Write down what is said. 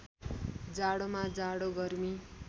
जाडोमा जाडो गर्मी